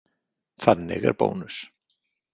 Þannig er Bónus.